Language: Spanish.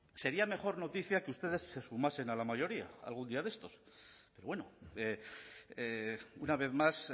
sería mejor noticia que ustedes se sumasen a la mayoría algún día de estos pero bueno una vez más